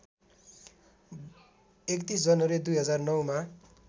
३१ जनवरी २००९ मा